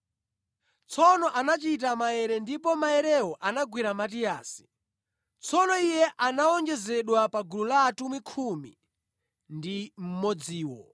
Tsono anachita maere, ndipo maerewo anagwera Matiyasi. Tsono iye anawonjezedwa pa gulu la atumwi khumi ndi mmodziwo.